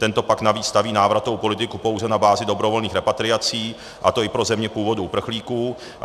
Tento pakt navíc staví návratovou politiku pouze na bázi dobrovolných repatriací, a to i pro země původu uprchlíků.